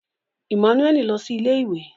Emmanuel Lọ si ilé-ìwé